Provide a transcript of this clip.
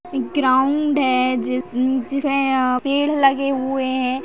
एक ग्राउंड है ज़ नीचे अ पेड़ लगे हुए है।